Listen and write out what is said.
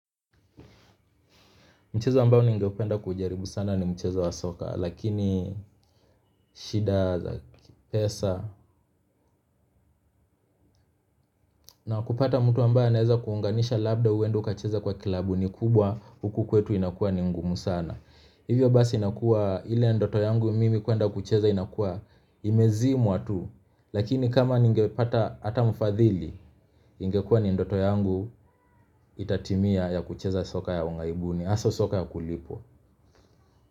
Mchezo mbao ningependa kuujaribu sana ni mchezo wa soka lakini shida za pesa na kupata mtu ambaye anaeza kuunganisha labda uende ukacheze kwa klabu ni kubwa huku kwetu inakuwa ni ngumu sana. Hivyo basi inakuwa ila ndoto yangu mimi kuenda kucheza inakuwa imezimwa tu lakini kama ningepata hata mfadhili ingekuwa ni ndoto yangu itatimia ya kucheza soka ya ughaibuni hasa soka ya kulipwa.